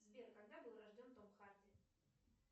сбер когда был рожден том харди